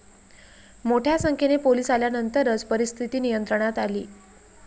मोठ्यासंख्येने police आल्यानंतरच परिस्थिती नियंत्रणात आली.